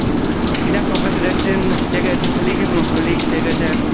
Frau Präsidentin, sehr geehrte Kolleginnen und Kollegen, sehr geehrter Herr Kommissar!